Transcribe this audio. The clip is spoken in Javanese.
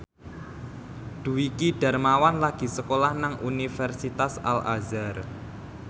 Dwiki Darmawan lagi sekolah nang Universitas Al Azhar